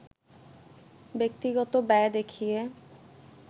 ব্যক্তিগত ব্যয় দেখিয়ে